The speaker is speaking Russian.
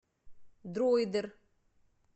дроидер